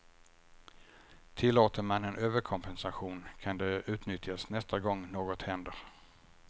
Tillåter man en överkompensation kan det utnyttjas nästa gång något händer.